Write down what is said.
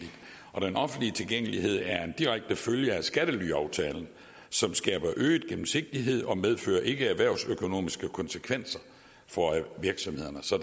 og den offentlige tilgængelighed er en direkte følge af skattelyaftalen som skaber øget gennemsigtighed og ikke medfører erhvervsøkonomiske konsekvenser for virksomhederne så